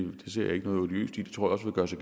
også